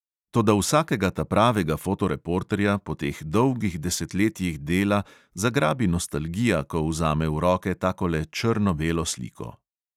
Toda vsakega tapravega fotoreporterja po teh dolgih desetletjih dela zagrabi nostalgija, ko vzame v roke takole črno-belo sliko.